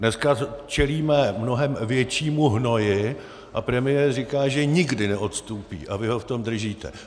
Dneska čelíme mnohem většímu hnoji, a premiér říká, že nikdy neodstúpi, a vy ho v tom držíte.